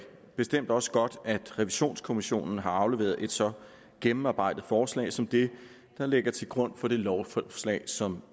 bestemt også godt at revisionskommissionen har afleveret et så gennemarbejdet forslag som det der ligger til grund for det lovforslag som